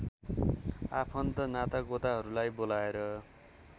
आफन्त नातागोताहरूलाई बोलाएर